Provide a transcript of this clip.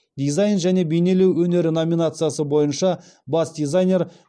дизайн және бейнелеу өнері номинациясы бойынша бас дизайнер